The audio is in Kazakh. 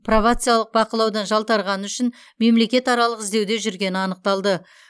пробациялық бақылаудан жалтарғаны үшін мемлекетаралық іздеуде жүргені анықталды